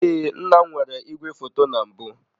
Ee, nna m nwere igwefoto na mbụ.